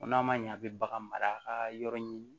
O n'a ma ɲɛ a bɛ bagan mara a ka yɔrɔ ɲimi